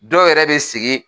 Dɔw yɛrɛ bɛ sigi.